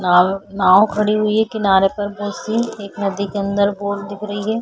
नाव नाव खड़ी हुई है किनारे पर बहुत सी एक नदी के अंदर बोट दिख रही है।